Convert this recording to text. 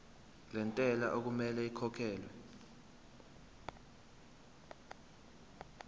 lentela okumele ikhokhekhelwe